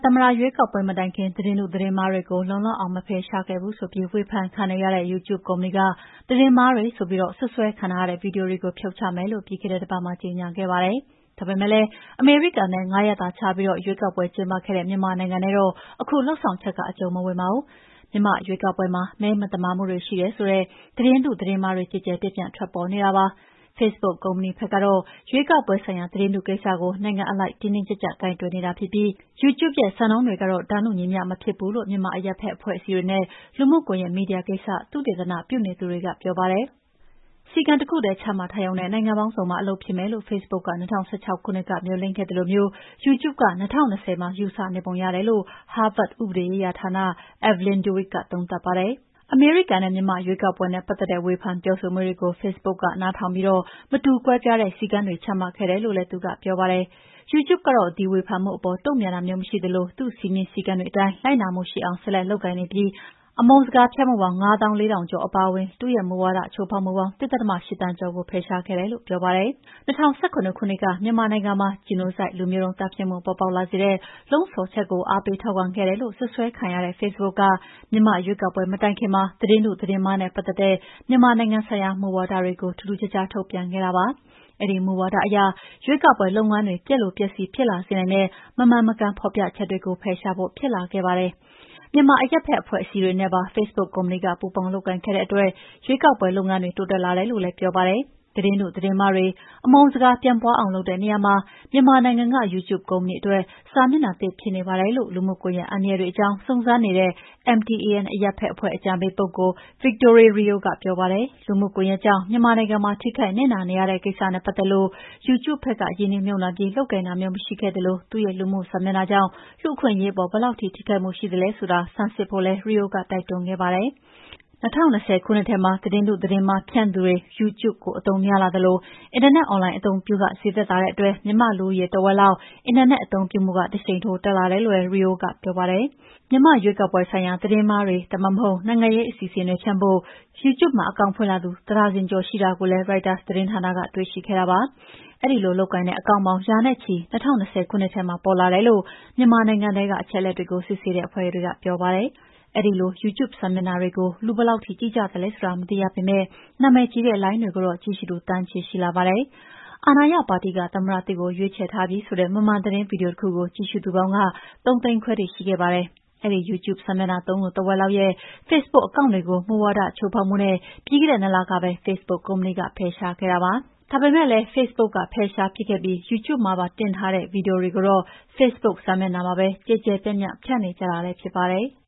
သမ္မတရွေးကောက်ပွဲမတိုင်ခင် သတင်းတုသတင်းမှားတွေကို လုံလောက်အောင်မဖယ်ရှားခဲ့ဘူးဆိုပြီး ဝေဖန်ခံနေရတဲ့ YouTube ကုမ္ပဏီက သတင်းမှားတွေဆိုပြီး စွပ်စွဲခံထားရတဲ့ ဗွီဒီယိုတွေကို ဖြုတ်ချမယ်လို့ ပြီးခဲ့တဲ့တပတ်မှာကြေငြာခဲ့ပါတယ်။ ဒါပေမယ့်လည်း အမေရိကန်နဲ့ ၅ ရက်သာခြားပြီးရွေးကောက်ပွဲကျင်းပခဲ့တဲ့ မြန်မာနိုင်ငံနဲ့တော့ အခု လုပ်ဆောင်ချက် က အကျုံးမဝင်ပါဘူး။ မြန်မာ့ရွေးကောက်ပွဲမှာ မဲမသမာမှုတွေရှိတယ်ဆိုတဲ့ သတင်းတု သတင်းမှားတွေ ကျယ်ကျယ်ပြန့်ပြန့် ထွက်ပေါ်နေတာပါ။ ဖေ့စ်ဘုတ်ကုမ္ပဏီဘက်ကတော့ ရွေးကောက်ပွဲဆိုင်ရာ သတင်းတုကိစ္စကို နိုင်ငံအလိုက် တင်းတင်းကြပ်ကြပ် ကိုင်တွယ်နေတာဖြစ်ပြီး YouTube ရဲ့စံနှုန်းတွေကတော့ တန်းတူညီမ ျှမဖြစ်ဘူးလို့ မြန်မာအရပ်ဖက် အဖွဲ့အစည်းတွေနဲ့ လူမှုကွန်ယက်မီဒီယာကိစ္စ သုတေသနပြုသူတွေကပြောပါတယ်။ စည်းကမ်းတခုထဲ ချမှတ်ထားရုံနဲ့ နိုင်ငံပေါင်းစုံမှာ အလုပ်ဖြစ်မယ်လို ဖေ့စ်ဘုတ်က ၂၀၁၆ ခုနှစ်ကမေ ျှာ်လင့်ခဲ့သလိုမျိုး YouTube က ၂၀၂၀မှာ ယူဆနေပုံရတယ်လို့ ဟားဗတ် ဥပဒေရေးရာဌာနက Evelyn Douek ကသုံးသပ်ပါတယ်။ အမေရိကန်နဲ့မြန်မာ့ရွေးကောက်ပွဲနဲ့ပတ်သက်တဲ့ ဝေဖန်ပြောဆိုမှုတွေကို ဖေ့စ်ဘုတ်က နားထောင်ပြီး မတူကွဲပြားတဲ့စည်းကမ်းတွေ ချမှတ်ခဲ့တယ်လို့လည်း သူကပြောပါတယ်။ YouTube ကတော့ဒီဝေဖန်မှုအပေါ် တုန့်ပြန်တာမျိုးမရှိသလို သူ့စည်းမျဉ်းစည်းကမ်းတွေအတိုင်း လိုက်နာမှုှရှိအောင် ဆက်လက်လုပ်ကိုင်နေပြီး ၂၀၂၀ တတိယလေးလပတ်မှာ အမုန်းစကားဖြန့်မှုပေါင်း ၅သောင်း ၄ ထောက်ကျော်အပါအဝင် သူ့ရဲ့မူဝါဒချိုးဖောက်မှုပေါင်း ၁.၈ သန်းကျော်ကို ဖယ်ရှားခဲ့တယ်လို့ပြောပါတယ်။ ၂၀၁၇ ခုနှစ်က မြန်မာနိုင်ငံမှာ Genocide လူမျိုးတုံးသတ်ဖြတ်မှု ပေါ်ပေါက်လာစေတဲ့ လှုံ့ဆော်ချက်တွေကို အားပေးထောက်ခံခဲ့တယ်လို့ စွပ်စွဲခံခဲ့ရတဲ့ ဖေ့စ်ဘုတ်က မြန်မာရွေးကောက်ပွဲမတိုင်ခင်မှာ သတင်းတုသတင်းမှားနဲ့ပတ်သက်တဲ့ မြန်မာနိုင်ငံဆိုင်ရာ မူဝါဒတွေကို ထူးထူးခြားခြားထုတ်ပြန်ခဲ့တာပါ။ အဲဒီမူဝါဒအရ ရွေးကောက်ပွဲလုပ်ငန်းတွေ ပျက်လိုပျက်စီးဖြစ်လာစေနိုင်တဲ့ မမှန်မကန်ဖော်ပြချက်တွေကို ဖယ်ရှားဖို့ ဖြစ်လာခဲ့ပါတယ်။ မြန်မာအရပ်ဖက်အဖွဲ့အစည်းတွေနဲ့ပါ ဖေ့စ်ဘုတ်ကုမ္ပဏီက ပူးပေါင်းလုပ်ကိုင်ခဲ့တဲ့အတွက် ရွေးကောက်ပွဲလုပ်ငန်းတွေ တိုးတက်လာတယ်လို့ လည်းပြောပါတယ်။ သတင်းတုသတင်းမှားတွေ၊ အမုန်းစကားပြန့်ပွါးအောင်လုပ်တဲ့နေရာမှာ မြန်မာနိုင်ငံက YouTube ကုမ္ပဏီအတွက် စာမျက်နှာသစ်ဖြစ်နေပါတယ်လို့ လူမှုကွန်ယက်အန္တရာယ်တွေအကြောင်း စုံစမ်းနေတဲ့ MTAN အရပ်ဖက်အဖွဲ့ အကြံပေးပုဂ္ဂိုလ် Victoire Rio ကပြောပါတယ်။ လူမှုကွန်ယက်ကြောင့် မြန်မာနိုင်ငံမှာ ထိခိုက်နစ်နာနေရတဲ့ကိစ္စနဲ့ပတ်သက်လို့ YouTube ဖက်က ရင်းနှီးမြှုပ်နှံပြီး လုပ်ကိုင်တာမျိုးမရှိခဲ့သလို သူ့ရဲ့လူမှု စာမျက်နှာကြောင့် လူ့အခွင့်အရေးပေါ် ဘယ်လောက်ထိခိုက်မှုရှိသလဲဆိုတာ ဆန်းစစ်ဖို့လည်း Rio ကတိုက်တွန်းခဲ့ပါတယ်။ ၂၀၂၀ ခုနှစ်ထဲမှာ သတင်းတုသတင်းမှားဖြန့်သူတွေ YouTube ကိုအသုံးများလာသလို အင်တာနက်အွန်လိုင်း အသုံးပြုခဈေးသက်သာတဲ့အတွက် မြန်မာ့လူဦးရေထက်ဝက်လောက်ရဲ့အက်တာနက်အသုံးပြုမှုက တရှိန်ထိုးတက်လာတယ်လို့လည်း Rio ကပြောပါတယ်။ မြန်မာ့ရွေးကောက်ပွဲဆိုင်ရာ သတင်းမှားတွေ ဒါမှမဟုတ် နိုင်ငံရေးအစီအစဉ်တွေဖြန့်ဖို့ YouTube မှာ အကောင့်ဖွင့်လာသူ တဒါဇင်ကျော်ရှိတယ်လို့လည်း ရိုက်တာသတင်းဌာကနတွေ့ရှိခဲ့တာပါ။ အဲဒီလိုလုပ်ကိုင်တဲ့အကောင့်ပေါင်း ရာနဲ့ချီ ၂၀၂၀ ခုနှစ်ထဲမှာပေါ်လာတယ်လို့ မြန်မာနိုင်ငံထဲက အချက်အလက်တွေကို စစ်ဆေးတဲ့အဖွဲ့တွေကပြောပါတယ်။ အဲဒီလို YouTube စာမျက်နှာတွေကို လူဘယ်လောက်ထိ ကြည့်ကြသလဲဆိုတာမသိရပေမယ့် နာမည်ကြီးတဲ့လိုင်းတွေကိုတော့ ကြည့်ရှုသူ သန်းချီရှိလာပါတယ်။ အာဏာရပါတီက သမ္မတသစ်ကိုရွေးထားပြီဆိုတဲ့ မမှန်သတင်းဗွီဒီယိုတခုကို ကြည့်ရှုသူပေါင်း ၃ သိန်းခွဲထိရှိခဲ့ပါတယ်။ အဲဒီ YouTube စာမျက်နှာသုံးသူ ထက်ဝက်လောက်ရဲ့ဖေ့စ်ဘုတ် အကောင့်တွေကို မူဝါဒချိုးဖောက်မှုနဲ့ ပြီးခဲ့တဲ့ ၂ လကပဲ ဖေ့စ်ဘုတ်ကုမ္ပဏီ ဖယ်ရှားခဲ့ပါတယ်။ ဒါပေမယ့်လည်းဖေ့စ်ဘုတ်ကဖယ်ရှားပစ်ခဲ့ပြီး YouTube မှာပါတင်ထားတဲ့ ဗွီဒီယိုတွေကိုတော့ ဖေ့စ်ဘုတ်စာမျက်နှာမှာပဲ ကျယ်ကျယ်ပြန့်ပြန့် ဖြန့်နေကြတာလည်းဖြစ်ပါတယ်။